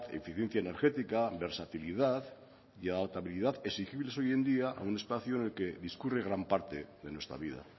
eficiencia energética versatilidad y adaptabilidad exigibles hoy en día a un espacio en el que discurre gran parte de nuestra vida